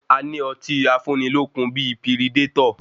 A ní ọtí afúnilókun bíi piridétọ̀.